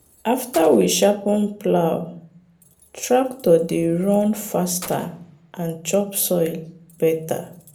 after we sharpen plow tractor dey run faster and chop soil better.